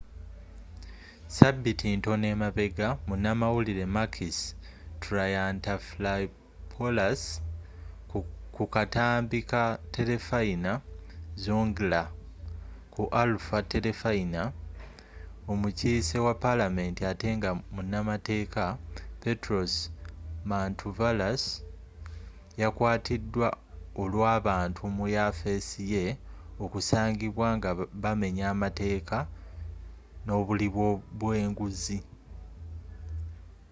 ssabiiti ntono emabega munamawulire makis triantafylopulous ku katambi ka terefayina zoungla” ku alpha terefayina omukiise wa palamenti ate nga munamateeka petros mantouvalos yakwatiidwa olw’abantu mu yafeesi ye okusangibwa nga bamenya amateeka nobuli bwenguzi